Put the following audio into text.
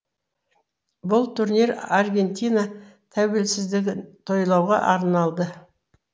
бұл турнир аргентина тәуелсіздігін тойлауға арналды